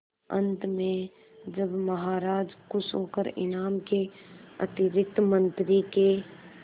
अंत में जब महाराज खुश होकर इनाम के अतिरिक्त मंत्री के